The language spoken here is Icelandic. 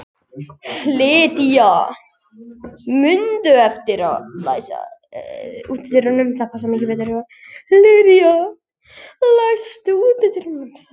Lydia, læstu útidyrunum.